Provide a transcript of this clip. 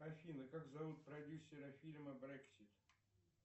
афина как зовут продюсера фильма брексит